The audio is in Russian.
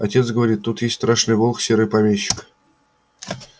отец говорит тут есть страшный волк серый помещик